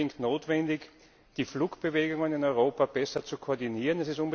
Es ist unbedingt notwendig, die Flugbewegungen in Europa besser zu koordinieren.